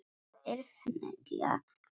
Þeir hengja mig?